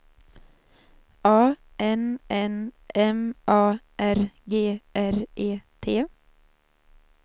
A N N M A R G R E T